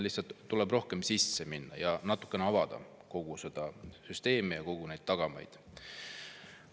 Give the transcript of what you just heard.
Lihtsalt tuleks sinna rohkem sisse minna ja natukene avada kogu seda süsteemi ja neid tagamaid.